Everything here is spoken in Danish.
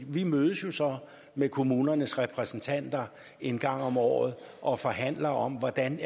vi mødes så med kommunernes repræsentanter en gang om året og forhandler om hvordan